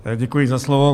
Děkuji za slovo.